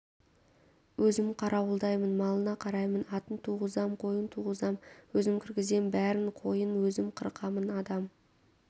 өзім қарауылдаймын малына қараймын атын туғызам қойын туғызам өзім кіргізем бәрін қойын өзім қырқамын адам